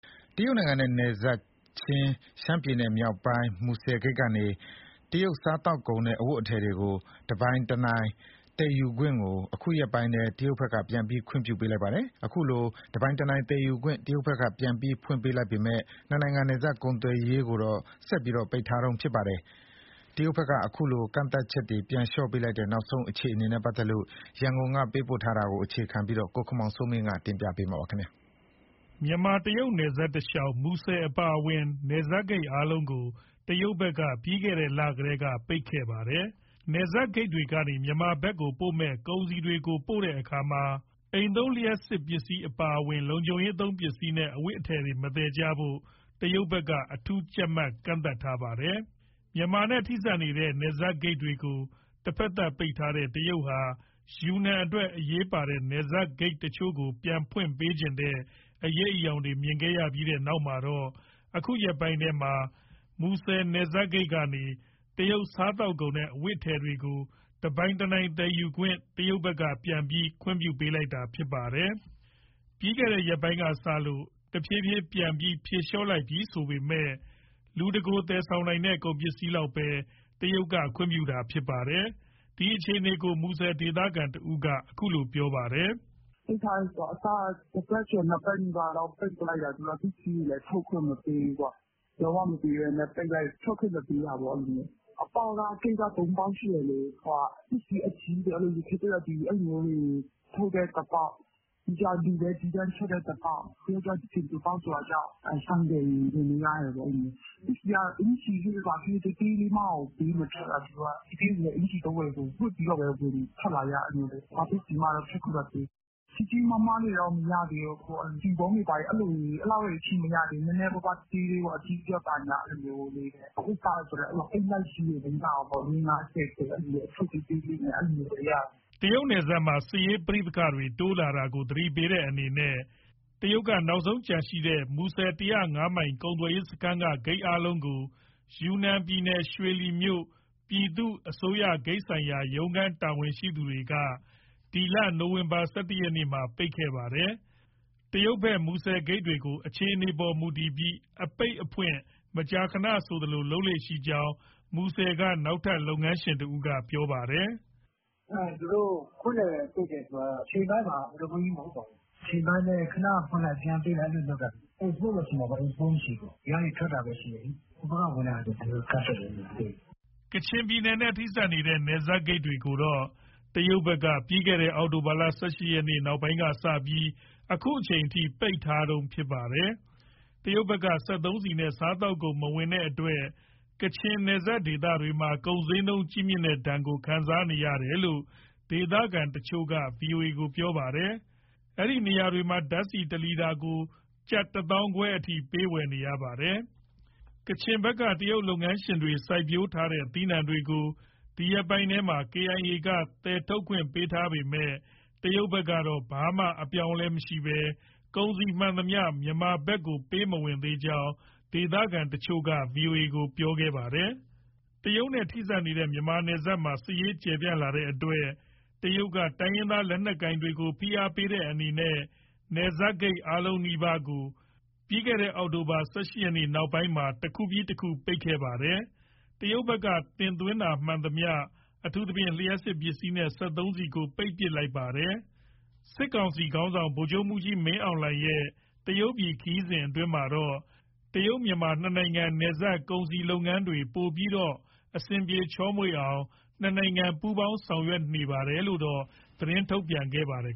တရုတ်နိုင်ငံနဲ့နယ်စပ် ရှမ်းပြည်နယ်မြောက်ပိုင်း မူဆယ်ဂိတ်ကနေ တရုတ်စားသောက်ကုန်နဲ့ အဝတ်အထည်တွေကို တနိုင်တပိုင် သယ်ယူခွင့်ကို အခုရက်ပိုင်းထဲ တရုတ်ဘက်က ပြန်ပြီး ခွင့်ပြုပေးလိုက်ပါတယ်။ အခုလိုတနိုင်တပိုင်သယ်ယူခွင့် တရုတ်ဘက်က ပြန်ပြီးဖွင့်ပေးလိုက်ပေမဲ့ နှစ်နိုင်ငံ နယ်စပ်ကုန်သွယ်ရေးကိုတော့ ဆက်ပြီး ပိတ်ထားတုန်းဖြစ်ပါတယ်။ တရုတ်နိုင်ငံက တနိုင်တပိုင် စားသောက်ကုန်သယ်ယူတာနဲ့ လူအဝင်အထွက်ကန့်သတ်ချက်ကို ပြန်လျှော့ပေးလိုက်တဲ့ နောက်ဆုံးအခြေအနေနဲ့ ပတ်သက်လို့ ရန်ကုန်က သတင်းပေးပို့ထားပါတယ်။ မြန်မာ တရုတ်နယ်စပ်တလျှောက် မူဆယ်နယ်စပ်ဂိတ်အပါအဝင် နယ်စပ်ဂိတ်တွေအားလုံး တရုတ်နိုင်ငံဘက်က ပြီးခဲ့တဲ့လတွေကတည်းက ပိတ်ထားတာဖြစ်ပါတယ်။ နယ်စပ်ဂိတ်တွေကနေ မြန်မာပြည်ဘက်ကိုပို့မယ့် ကုန်စည်တွေကိုပို့ခွင့် မြန်မာဘက်ကို အိမ်သုံး လျှပ်စစ်ပစ္စည်းအပါအဝင် လုံခြုံရေးသုံးပစ္စည်းနဲ့ အဝတ်အထည်တွေ မသယ်ကြဖို့ တရုတ်ဘက်က အထူးကြပ်မတ်ထားတာ ဖြစ်ပါတယ်။ မြန်မာနဲ့ထိစပ်နေတဲ့ နယ်စပ်ဂိတ်တွေကို တဖက်သတ်ပိတ်ထားတဲ့ တရုတ်ဟာ ယူနန်အတွက် အရေးပါတဲ့ နယ်စပ်ဂိတ်တချို့ကို ပြန်ဖွင့်ပေးချင်တဲ့ အရိပ်အယောင်တွေ မြင်ရခဲ့ပြီးတဲ့နောက်မှာတော့ အခုရက်ပိုင်းထဲမှာ မူဆယ်နယ်စပ်ဂိတ်ကနေ တရုတ်စားသောက်ကုန်နဲ့ အဝတ်အထည်တွေကို တနိုင်တပိုင် သယ်ယူခွင့်ကို တရုတ်ဘက်က ပြန်ပြီး ခွင့်ပြုပေးလိုက်တာဖြစ်ပါတယ်။ ပြီးခဲ့တဲ့ရက်ပိုင်းကစလို့ တဖြည်းဖြည်းပြန်ပြီး ဖြေလျှော့လိုက်ပြီ ဆိုပေမဲ့ လူတကိုယ် သယ်ဆောင်နိုင်တဲ့ ကုန်ပစ္စည်းလောက်ပဲ တရုတ်က ခွင့်ပြုပေးတာဖြစ်ပါတယ်။ ဒီအခြေအနေကို မူဆယ်ဒေသခံတဦးက အခုလိုပြောပါတယ်။ "အစက တပတ်ကျော် နှစ်ပတ်လောက် ပိတ်ပစ်လိုက်တာ၊ ပစ္စည်းတွေလည်း ထွက်ခွင့်မပေးဘူး။ လုံးဝမပေးဘဲ ပိတ်လိုက်၊ ထွက်ခွင့်မပေးတာပေါ့ အဲလို။ အပေါက်က ဂိတ်က သုံးပေါက်ရှိတယ်လေ ပစ္စည်းအကြီးတွေ အဲလိုမျိုးတွေ ထုတ်တဲ့အပေါက်၊ ပြီးတော့ လူပဲသီးသန့်ထွက်တဲ့အပေါက်၊ ပြီးရင်ဆင်ဖြူပေါက် ဆိုင်ကယ်တွေ ဝင်လို့ရတယ်ပေါ့။ အကျီသေးသေးလေးမှကို ပေးမထွက်တာ သူတို့က။ အကျီသွားဝယ်ရင် ဝတ်ပြီး ထွက်လာရတယ်။ ဘာပစ္စည်းမှ ထွက်ခွင့်မပေးဘူး။ ကြီးကြီးမားမားတွေတော့ မရသေးဘူး ဆီပုံးတွေ အဲလောက်ထိမရသေးဘူး နည်းနည်းပါပါး သေးသေးလေးပေါ့၊ အဝတ်အစားဆိုလည်း အိတ်လိုက်ကြီးတွေ မရဘူးပေါ့ လေးငါးဆယ်ထည် အထုပ်သေးလေးတွေပဲရတာ။" တရုတ်နယ်စပ်မှာ စစ်ရေးပဋိပက္ခတွေ တိုးလာတာကို သတိပေးတဲ့အနေနဲ့ တရုတ်က နောက်ဆုံးကျန်ရှိတဲ့ မူဆယ် ၁၀၅မိုင်ကုန်သွယ်ရေးစခန်းက ဂိတ်အားလုံးကို ယူနန်ပြည်နယ်၊ ရွှေလီမြို့ ပြည်သူ့အစိုးရဂိတ်ဆိုင်ရာ ရုံးခန်း တာဝန်ရှိသူတွေက နိုဝင်ဘာလ ၁၁ရက်မှာ ပိတ်ခဲ့တာ ဖြစ်ပါတယ်။ တရုတ်ဘက် မူဆယ်ဂိတ်တွေကို အခြေအနေအပေါ်မူတည်ပြီး အပိတ်အဖွင့် မကြာခဏဆိုသလို လုပ်လေ့ရှိကြောင်း မူဆယ်က နောက်ထပ်လုပ်ငန်းရှင် တဦးက ပြောပါတယ်။ "သူတို့ဖွင့်တယ်၊ ပိတ်တယ်ဆိုတာ အချိန်ပိုင်းပါ ခဏပိတ်လိုက် ပြန်ဖွင့်လိုက် အဲလိုလုပ်တာ။ အိတ်စပို့ပဲရှိမှာ အင်ပို့မရှိဘူး။ ဒီကနေ ထွက်တာပဲရှိတယ်၊ ဟိုဘက်က ဝင်တဲ့ဟာ ကန့်သတ်တယ် အကုန်။" ကချင်ပြည်နယ်နဲ့ ထိစပ်နေတဲ့ နယ်စပ်ဂိတ်တွေကိုတော့ တရုတ်ဘက်က အောက်တိုဘာလ ၁၈ရက် နောက်ပိုင်းကစပြီး အခုအချိန်အထိ ပိတ်ထားတုန်းဖြစ်ပါတယ်။ တရုတ်ဘက်က စက်သုံးဆီနဲ့ စားသောက်ကုန်မဝင်တဲ့အတွက် ကချင်နယ်စပ်ဒေသတွေမှာ ကုန်ဈေးနှုန်းကြီးမြင့်တဲ့ဒဏ်ကို ခံစားနေရတယ်လို့ ဒေသခံတချို့က ဗွီအိုအေကို ပြောပါတယ်။ အဲဒီနေရာတွေမှာ ဓာတ်ဆီတလီတာကို ကျပ် ၁၅,၀၀၀ လောက် ပေးဝယ်နေရတာပါ။ ကချင်ဘက်က တရုတ်လုပ်ငန်းရှင်တွေ စိုက်ပျိုးထားတဲ့ သီးနှံတွေကို ဒီရက်ပိုင်းထဲမှာ KIA က သယ်ထုတ်ခွင့်ပေးထားပေမဲ့ တရုတ်ဘက်ကတော့ ဘာမှ အပြောင်းအလဲ မရှိဘဲ၊ ကုန်စည်မှန်သမျှ မြန်မာဘက်ကို ပေးမဝင်သေးကြောင်း ဒေသခံတချို့က ဗွီအိုအေကို ပြောပြခဲ့တာပါ။ တရုတ်နဲ့ထိစပ်နေတဲ့ မြန်မာနယ်စပ်မှာ စစ်ရေးကျယ်ပြန့်လာတဲ့အတွက် တရုတ်က တိုင်းရင်းသား လက်နက်ကိုင်တွေကို ဖိအားပေးတဲ့အနေနဲ့ နယ်စပ်ဂိတ်အားလုံးနီးပါးကို အောက်တိုဘာလ ၁၈ရက်နောက်ပိုင်းမှာ တခုပြီးတခု ပိတ်လာခဲ့တာပါ။ တရုတ်ဘက်က တင်သွင်းကုန်မှန်သမျှ အထူးသဖြင့် လျှပ်စစ်ပစ္စည်းနဲ့ စက်သုံးဆီကို ပိတ်လိုက်တာဖြစ်ပါတယ်။ စစ်ခေါင်းဆောင်ဗိုလ်ချုပ်မှူးကြီးမင်းအောင်လှိုင်ရဲ့ တရုတ်ပြည်ခရီးစဉ်အတွင်းမှာတော့ တရုတ်-မြန်မာနှစ်နိုင်ငံ နယ်စပ်ကုန်စည်လုပ်ငန်းတွေပိုပြီးတော့မှ အဆင်ပြေချောမွေ့အောင် နှစ်နိုင်ငံပူးပေါင်းဆောင်ရွက်နေပါတယ်ဆိုတာကိုတော့ သတင်းထုတ်ပြန်ထားပါတယ်